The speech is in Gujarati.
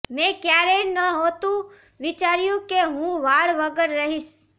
મેં ક્યારેય નહોતું વિચાર્યું કે હું વાળ વગર રહીશ